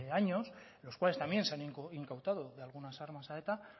años en los cuales también se han incautado algunas armas a eta